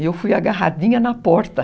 E eu fui agarradinha na porta.